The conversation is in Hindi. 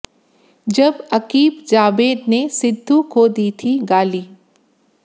जब अकीब जावेद ने सिद्धू को दी थी गाली